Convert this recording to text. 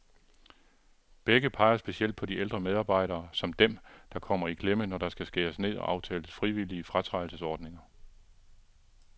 Begge peger specielt på de ældre medarbejdere, som dem, der kommer i klemme, når der skal skæres ned og aftales frivillige fratrædelsesordninger.